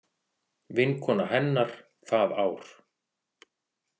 Vinkona hennar það ár.